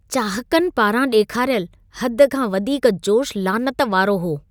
चाहकनि पारां ॾेखारियल, हद खां वधीक जोशु लानत वारो हो।